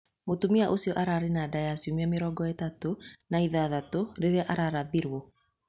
Mũtumia ũcio aarĩ na nda ya ciumia mĩrongo ĩtatũ na ithathatũ rĩrĩa ararathiruo.